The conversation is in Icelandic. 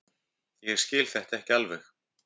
Ég skil þetta ekki alveg.